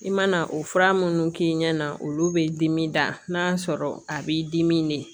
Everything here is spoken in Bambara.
I mana o fura minnu k'i ɲɛna olu bɛ dimi da n'a sɔrɔ a b'i dimi de